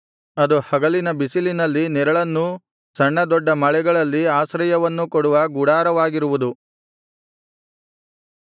ಅದು ಹಗಲಿನ ಬಿಸಿಲಿನಲ್ಲಿ ನೆರಳನ್ನೂ ಸಣ್ಣ ದೊಡ್ಡ ಮಳೆಗಳಲ್ಲಿ ಆಶ್ರಯವನ್ನೂ ಕೊಡುವ ಗುಡಾರವಾಗಿರುವುದು